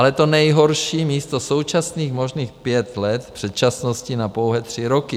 Ale to nejhorší - místo současných možných pěti let předčasnosti na pouhé tři roky.